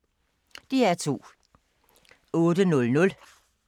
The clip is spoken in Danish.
DR2